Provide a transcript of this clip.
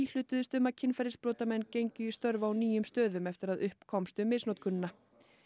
íhlutuðust um að kynferðisbrotamenn gengju í störf á nýjum stöðum eftir að upp komst um misnotkunina